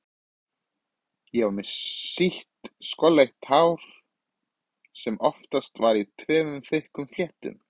Ég var með sítt skolleitt hár sem oftast var í tveimur þykkum fléttum.